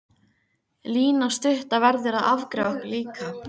Lína stutta verður að afgreiða okkur líka.